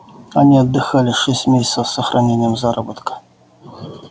они отдыхали шесть месяцев с сохранением заработка